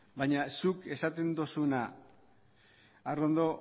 baina zuk esaten dozuna arrondo